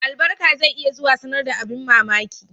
Albarka zai iya zuwa sanar da abin mamaki